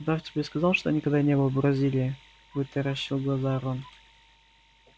удав тебе сказал что никогда не был в бразилии вытаращил глаза рон